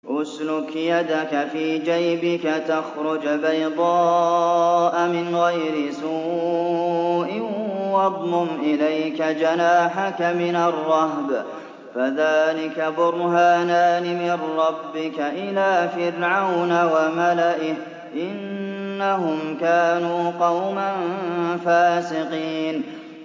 اسْلُكْ يَدَكَ فِي جَيْبِكَ تَخْرُجْ بَيْضَاءَ مِنْ غَيْرِ سُوءٍ وَاضْمُمْ إِلَيْكَ جَنَاحَكَ مِنَ الرَّهْبِ ۖ فَذَانِكَ بُرْهَانَانِ مِن رَّبِّكَ إِلَىٰ فِرْعَوْنَ وَمَلَئِهِ ۚ إِنَّهُمْ كَانُوا قَوْمًا فَاسِقِينَ